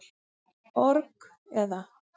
org, eða.